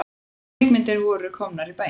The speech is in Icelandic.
Kvikmyndirnar voru komnar í bæinn.